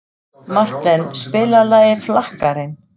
Marten, spilaðu lagið „Flakkarinn“.